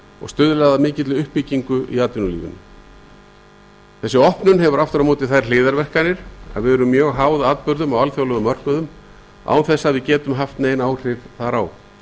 og stuðlað að mikilli uppbyggingu í atvinnulífinu opnunin hefur aftur á móti þær hliðarverkanir að við erum mjög háð atburðum á alþjóðlegum mörkuðum án þess að við getum haft nein áhrif þar á